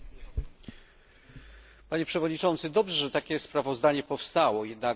Dobrze, że takie sprawozdanie powstało, jednak nie sposób nie zauważyć jego istotnych braków.